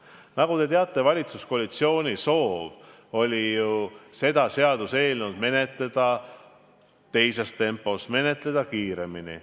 Nagu te teate, valitsuskoalitsiooni soov oli seda seaduseelnõu menetleda teises tempos, menetleda kiiremini.